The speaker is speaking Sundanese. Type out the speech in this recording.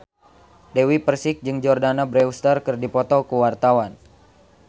Dewi Persik jeung Jordana Brewster keur dipoto ku wartawan